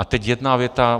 A teď jedna věta.